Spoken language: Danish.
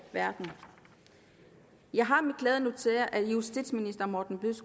verden jeg har med glæde noteret at justitsministeren